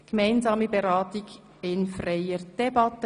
Gemeinsame Behandlung der beiden Geschäfte in freier Debatte